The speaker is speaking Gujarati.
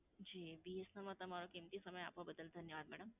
જી, BSNL માં તમારો કીમતી સમય આપવા બદલ ધન્યવાદ madam.